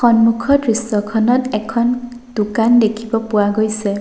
সন্মুখৰ দৃশ্যখনত এখন দোকান দেখিব পোৱা গৈছে।